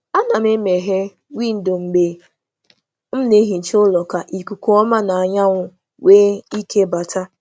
A na m e meghere windo mgbe m na-emecha ụlọ ka m nwee ikuku ọhụrụ na anyanwụ.